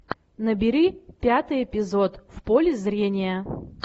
набери пятый эпизод в поле зрения